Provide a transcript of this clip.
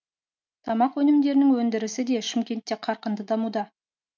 тамақ өнімдерінің өндірісі де шымкентте қарқынды дамуда